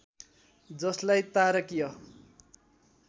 जसलाई तारकीय